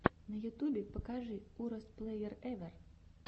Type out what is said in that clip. на ютубе покажи уростплэерэвэр